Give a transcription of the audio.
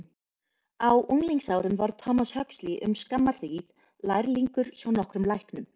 Á unglingsárum var Thomas Huxley um skamma hríð lærlingur hjá nokkrum læknum.